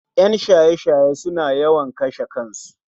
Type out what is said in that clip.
En shaye shaye suna yawan kashe kansu